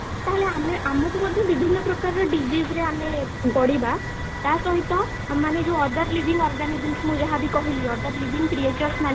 ତାହେଲେ ଆମେ ଆମକୁ ମଧ୍ୟ ବିଭିନ୍ନ ପ୍ରକାରର disease ରେ ଆମେ ପଡିବା ତାସହିତ ମାନେ ଯୋଉ other living organisms ମୁଁ ଯାହା ବି କହିଲି other living creatures ମାନେ